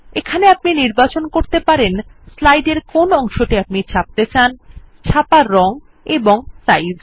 এখানে আপনি নির্বাচন করতে পরতে পারেন স্লাইড এর কোন অংশটি আপনি ছাপতে চান ছাপার রং এবং সাইজ